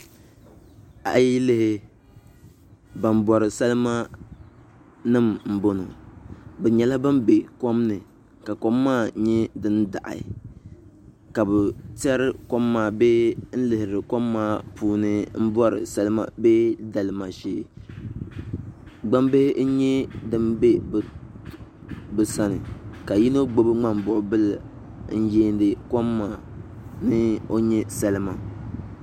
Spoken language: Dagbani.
A yi lihi ban bori salima nim n boŋo bi nyɛla bin bɛ kom ni ka kom maa nyɛ din daɣi ka bi tiɛri kom maa bee n lihiri kom maa puuni n bori salima bee dalima shee gbambihi n nyɛ din bɛ bi sani ka yino gbubi ŋmanibuɣubili n yiindi kom maa ni o nyɛ salima